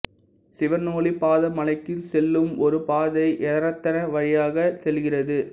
சிவனொளிபாத மலைக்கு செல்லும் ஒரு பாதை எரத்ன வழியாகச் செல்கிறது